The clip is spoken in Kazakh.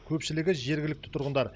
көпшілігі жергілікті тұрғындар